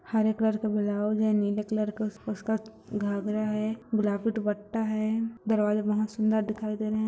हरे colour का blouse है नीले कलर का उसका घाघरा है गुलाबी दुपट्टा है दरवाजा बहुत सुंदर दिखाई दे रहे हैं।